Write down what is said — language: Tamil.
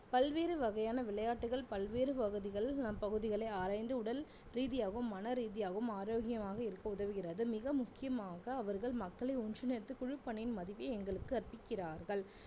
பல்வேறு வகையான விளையாட்டுகள் பல்வேறு பகுதிகள் நம் பகுதிகளை ஆராய்ந்து உடல் ரீதியாகவும் மனரீதியாகவும் ஆரோக்கியமாக இருக்க உதவுகிறது மிக முக்கியமாக அவர்கள் மக்களை ஒன்றிணைத்து குழுப்பணியின் மதிப்பு எங்களுக்கு கற்பிக்கிறார்கள்